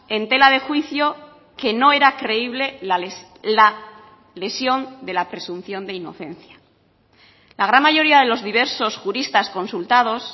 en tela de juicio que no era creíble la lesión de la presunción de inocencia la gran mayoría de los diversos juristas consultados